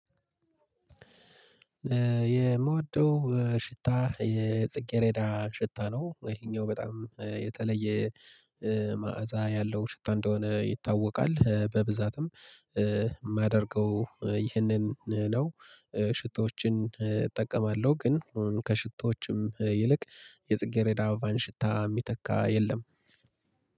የምወደው ሽታ የጽጌሬዳ ሽታ ነው ይሄኛው በጣም የተለየ መዓዛ ያለው ሽታ እንደሆነ ይታወቃል በብዛትም የማደርገው ይህንን ነው። ሽቶዎችን እጠቀማለሁ ግን ከሽቶዎችም ይልቅ የጽጌሬዳ አበባን ሽታ የሚተካ የለም